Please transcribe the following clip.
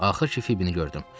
Axır ki Fibbini gördüm.